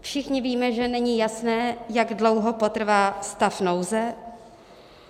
Všichni víme, že není jasné, jak dlouho potrvá stav nouze.